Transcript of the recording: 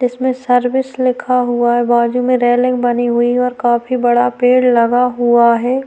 जिसमे सर्विस लिखा हुआ है बाजु में रेलिंग बनी हुई है और काफी बड़ा पेड़ लगा हुआ है।